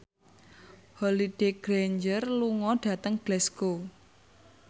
Holliday Grainger lunga dhateng Glasgow